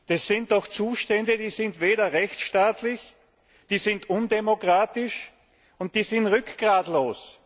Das sind doch Zustände, die sind nicht rechtsstaatlich, die sind undemokratisch und die sind rückgratlos!